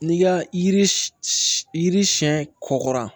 N'i ka yiri yiri siyɛn kɔkɔra